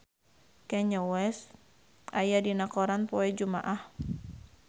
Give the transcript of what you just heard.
Kanye West aya dina koran poe Jumaah